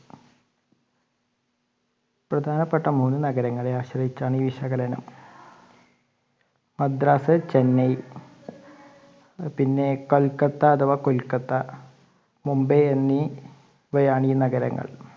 പ്രധാനപെട്ട മൂന്ന് നഗരങ്ങളെ ആശ്രയിച്ചാണ് ഈ വിശകലനം. മദ്രാസ്, ചെന്നൈ പിന്നെ കൊൽക്കത്ത അഥവാ കുൽക്കത്ത മുംബൈ എന്നിവയാണ് ഈ നഗരങ്ങൾ.